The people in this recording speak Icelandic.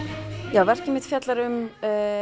já verkið mitt fjallar um